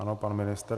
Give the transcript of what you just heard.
Ano, pan ministr.